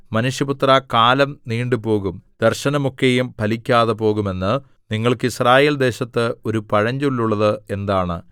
മനുഷ്യപുത്രാ കാലം നീണ്ടുപോകും ദർശനമൊക്കെയും ഫലിക്കാതെപോകും എന്ന് നിങ്ങൾക്ക് യിസ്രായേൽ ദേശത്ത് ഒരു പഴഞ്ചൊല്ലുള്ളത് എന്താണ്